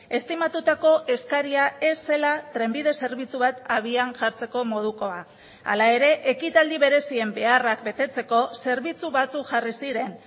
estimatutako eskaria ez zela trenbide zerbitzu bat abian jartzeko modukoa hala ere ekitaldi berezien beharrak betetzeko zerbitzu batzuk jarri ziren